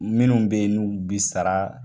Minnu be yen n'u bi sara.